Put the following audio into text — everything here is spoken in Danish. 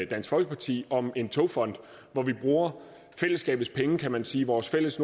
dansk folkeparti om en togfond hvor vi bruger fællesskabets penge kan man sige vores fælles